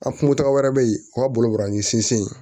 A kungo taga wɛrɛ bɛ yen o ka boloin sinsin